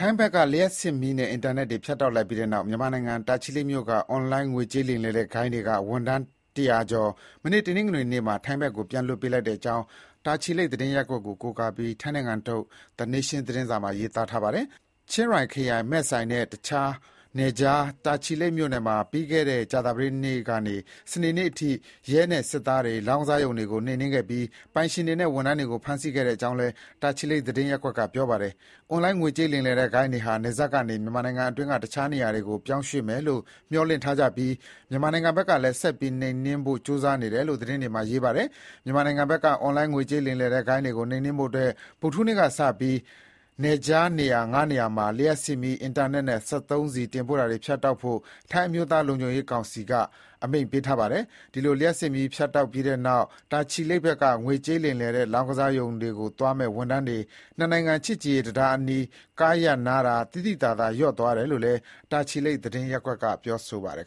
ိုင်ငံဘက်က လျှပ်စစ်မီးနဲ့ အင်တာနက်တွေဖြတ်လိုက်ပြီးတဲ့နောက် မြန်မာနိုင်ငံ တာချီလိတ်မြို့က အွန်လိုင်းငွေကြေးလိမ်လည်တဲ့ဂိုဏ်းတွေက ဝန်ထမ်း ၁၀၀ ကျော် မနေ့က တနင်္ဂနွေနေ့မှာ ထိုင်းဘက်ကိုပြန်လွှတ်ပေးလိုက်တဲ့ကြောင်း တာချီလိတ်သတင်းရပ်ကွက်ကို ကိုးကားပြီး ထိုင်းနိုင်ငံထုတ် Tha Nation သတင်းစာမှာ ရေးပါတယ်။ ချင်းရိုင်ခရိုင် မဲ့ဆိုင်နဲ့ နယ်ခြား တာချီလိတ်မြို့မှာ ပြီးခဲ့တဲ့ ကြာသပတေးနေ့ကနေ စနေနေ့အထိ ရဲနဲ့ စစ်သားတွေ လောင်းကစားရုံတွေကိုနှိမ်နင်းခဲ့ပြီး ပိုင်ရှင်တွေနဲ့ ဝန်ထမ်းတွေကို ဖမ်းဆီးခဲ့ကြောင်း လည်း တာချီလိတ်သတင်းရပ်ကွက်က ပြောပါတယ်။ အွန်လိုင်း ငွေကြေးလိမ်လည်တဲ့ဂိုဏ်းတွေဟာ နယ်စပ်ကနေ မြန်မာနိုင်ငံအတွင်းက တခြားနေရာတွေကို ပြောင်းရွှေ့မယ်လို့ မျှော်လင့်ထားကြပြီး မြန်မာနိုင်ငံဘက်ကလည်း ဆက်ပြီးနှိမ်နင်းဖို့ ကြိုးစားနေတယ်လို့ သတင်းမှာ ရေးထားပါတယ်။ မြန်မာနိုင်ငံဘက်က အွန်လိုင်းငွေကြေးလိမ်လည်တဲ့ဂိုဏ်းတွေကို နှိမ်နင်းဖို့အတွက် ဗုဒ္ဓဟူးနေ့ကစပြီး နယ်ခြားနေရာ ၅ နေရာမှာ လျှပ်စစ်မီး၊ အင်တာနက်နဲ့၊ စက်သုံးဆီ တင်ပို့တာတွဖြတ်တောက်ဖို့ ထိုင်းအမျိုးသားလုံခြုံရေးကောင်စီက အမိန့်ပေးခဲ့ပါတယ်။ ဒီလို လျှပ်စစ်မီးဖြတ်တောက်ပြီးနောက် တာချီလိတ်ဘက်က ငွေကြေးလိမ်လည်တဲ့လောင်းကစားရုံတွေကိုသွားမယ့် ဝန်ထမ်းတွေ နှစ်နိုင်ငံ ချစ်ကြည်ရေးတံတားအနီး ကားရပ်နားတာ သိသိသာသာလျော့သွားတယ်လို့လည်း တာချီလိတ် သတင်းရပ်ကွက်က ပြောပါတယ်